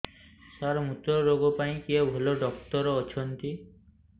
ସାର ମୁତ୍ରରୋଗ ପାଇଁ କିଏ ଭଲ ଡକ୍ଟର ଅଛନ୍ତି